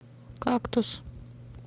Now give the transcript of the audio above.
кактус